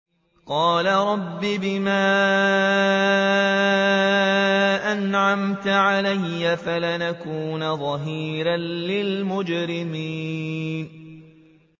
قَالَ رَبِّ بِمَا أَنْعَمْتَ عَلَيَّ فَلَنْ أَكُونَ ظَهِيرًا لِّلْمُجْرِمِينَ